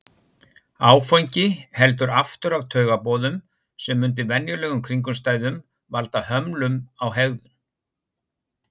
Áfengi heldur aftur af taugaboðum sem undir venjulegum kringumstæðum valda hömlum á hegðun.